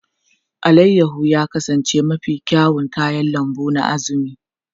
Alayyahu ya kasance mafi kyawun kayan lambu na Azumi.